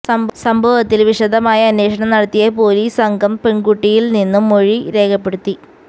സംഭവത്തില് വിശദമായ അന്വേഷണം നടത്തിയ പോലീസ് സംഘം പെണ്കുട്ടിയില്നിന്നും മൊഴി രേഖപ്പെടുത്തി